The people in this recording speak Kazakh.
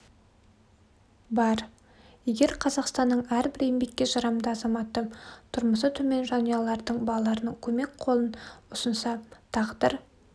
бар егер қазақстанның әрбір еңбекке жарамды азаматы тұрмысы төмен жанұялардын балаларына көмек қолын ұсынса тағдыр